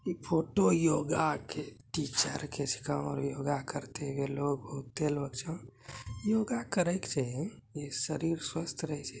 इ photo yoga के teacher yoga करय छै इ शरीर स्वस्थ रहय छै।